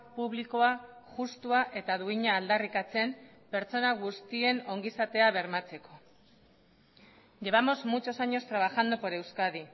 publikoa justua eta duina aldarrikatzen pertsona guztien ongizatea bermatzeko llevamos muchos años trabajando por euskadi